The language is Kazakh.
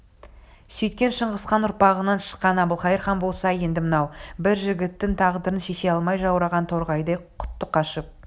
сөйткен шыңғысхан ұрпағынан шыққан әбілқайыр хан болса енді мынау бір жігіттің тағдырын шеше алмай жаураған торғайдай құты қашып